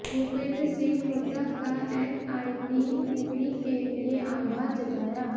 भूपेन्द्र सिहं हुड्डा का एनआईडी उमरी के लिए आभार जताया